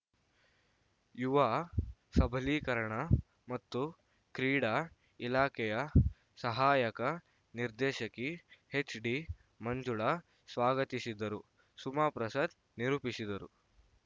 ಯುವ ಸಬಲೀಕರಣ ಮತ್ತು ಕ್ರೀಡಾ ಇಲಾಖೆಯ ಸಹಾಯಕ ನಿರ್ದೇಶಕಿ ಎಚ್‌ಡಿ ಮಂಜುಳ ಸ್ವಾಗತಿಸಿದರು ಸುಮಾ ಪ್ರಸಾದ್‌ ನಿರೂಪಿಸಿದರು